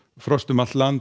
frost um allt land